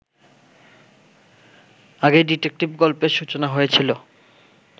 আগেই ডিটেকটিভ গল্পের সূচনা হয়েছিল